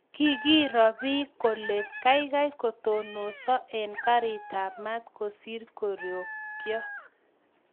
Kikiroo piik kolee kaikai kotononso eng kariit ab maat kosiir korikyoo